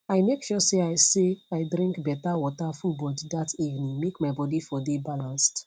i make sure say i say i drink better water full body that evening make my body for dey balanced